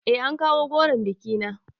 Eh an kawo goron bikina